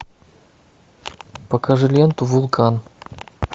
покажи ленту вулкан